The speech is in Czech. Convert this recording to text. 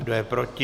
Kdo je proti?